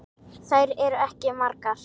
Þær eru ekki margar.